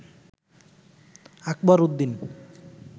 Akbar Uddin